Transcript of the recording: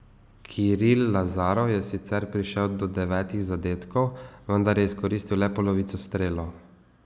Kiril Lazarov je sicer prišel do devetih zadetkov, vendar je izkoristil le polovico strelov.